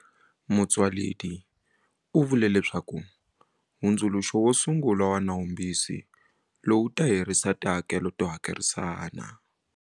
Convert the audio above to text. Motsoaledi u vule leswaku hundzuluxo wo sungula wa nawumbisi lowu wu ta herisa tihakelo to hakerisana.